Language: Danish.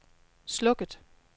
slukket